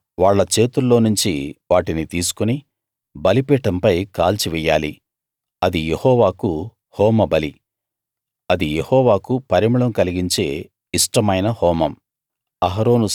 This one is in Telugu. తరువాత వాళ్ళ చేతుల్లోనుంచి వాటిని తీసుకుని బలిపీఠంపై కాల్చివెయ్యాలి అది యెహోవాకు హోమబలి అది యెహోవాకు పరిమళం కలిగించే ఇష్టమైన హోమం